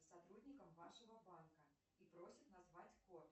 сотрудником вашего банка и просит назвать код